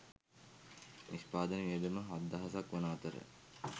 නිෂ්පාදන වියදම හත්දහසක් වන අතර